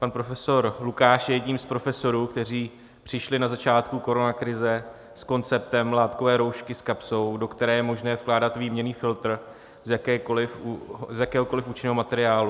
Pan profesor Lukáš je jedním z profesorů, kteří přišli na začátku koronakrize s konceptem látkové roušky s kapsou, do které je možné vkládat výměnný filtr z jakéhokoliv účinného materiálu.